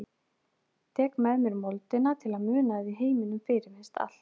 Tek með mér moldina til að muna að í heiminum fyrirfinnst allt.